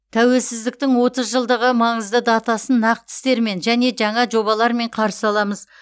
тәуелсіздіктің отыз жылдығы маңызды датасын нақты істермен және жаңа жобалармен қарсы аламыз